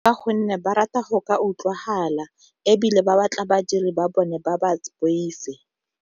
Ka gonne ba rata go ka utlwagala ebile ba batla badiri ba bone ba ba boife.